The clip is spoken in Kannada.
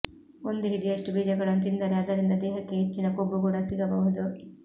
ಒಂದು ಹಿಡಿಯಷ್ಟು ಬೀಜಗಳನ್ನು ತಿಂದರೆ ಅದರಿಂದ ದೇಹಕ್ಕೆ ಹೆಚ್ಚಿನ ಕೊಬ್ಬು ಕೂಡ ಸಿಗಬಹುದು